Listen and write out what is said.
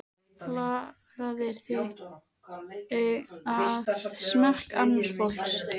Lagaðir þig að smekk annars fólks.